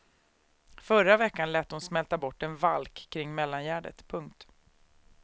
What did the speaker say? Förra veckan lät hon smälta bort en valk kring mellangärdet. punkt